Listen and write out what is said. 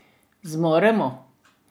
Zmoremo?